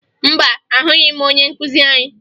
Mba, ahụghị m onye nkụzi anyị